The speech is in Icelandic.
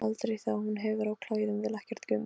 Aldrei þegar hún hefur á klæðum, vill ekkert gums.